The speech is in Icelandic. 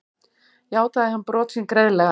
Játaði hann brot sín greiðlega